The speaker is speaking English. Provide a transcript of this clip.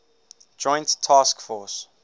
joint task force